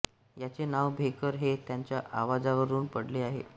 याचे नाव भेकर हे त्याच्या आवाजावरुन पडले आहे